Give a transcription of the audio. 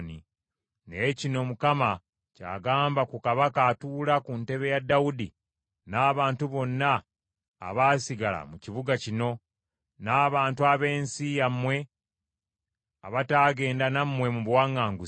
Naye kino Mukama ky’agamba ku kabaka atuula ku ntebe ya Dawudi n’abantu bonna abaasigala mu kibuga kino, n’abantu ab’ensi yammwe abataagenda nammwe mu buwaŋŋanguse.